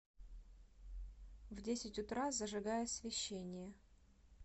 в десять утра зажигай освещение